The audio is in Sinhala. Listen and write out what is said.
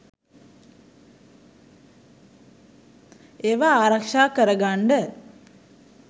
ඒවා ආරක්ෂා කරගන්ඩ